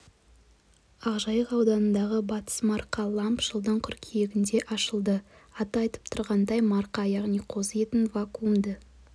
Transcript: ақжайық ауданындағы батыс марқа ламб жылдың қыркүйегінде ашылды аты айтып тұрғандай марқа яғни қозы етін вакуумды